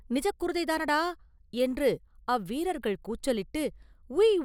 நிஜக் குருதை தானடா!” என்று அவ்வீரர்கள் கூச்சலிட்டு, “உய்!